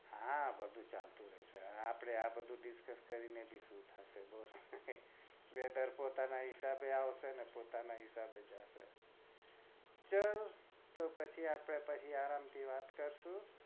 હા બધું ચાલતું રેસે આપડે આ બધું discuss કરી ને બી શું થશે આ weather પોતાના હિસાબે આવશે ને જશે ચલ તો પછી આપડે અત્યાર થી આરામ થી વાત કરીશું